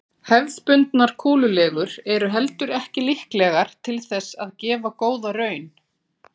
Hefðbundnar kúlulegur eru heldur ekki líklegar til þess að gefa góða raun.